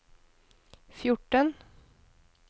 fjorten